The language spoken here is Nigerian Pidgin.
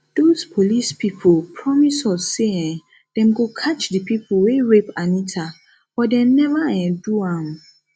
doz police people promise us say um dem go catch the people wey rape anita but dem never um do am